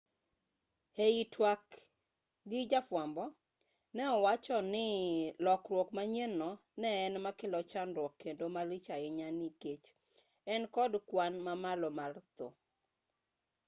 ei twak gi jafwambo ne owacho ni lokruok manyien no ne en makelo chandruok kendo malich ahinya nikech en kod kwan mamalo mar thoe